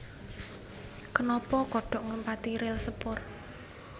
Kenapa kodhok nglumpati ril sepur